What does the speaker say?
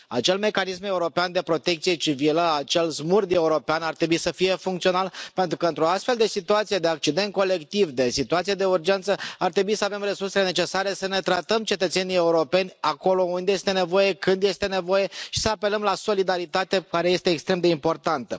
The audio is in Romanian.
Acel mecanism european de protecție civilă, acel SMURD european ar trebui să fie funcțional pentru că într o astfel de situație de accident colectiv, de situație de urgență, ar trebui să avem resursele necesare să ne tratăm cetățenii europeni acolo unde este nevoie, când este nevoie și să apelăm la solidaritate, care este extrem de importantă.